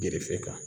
Gerefe kan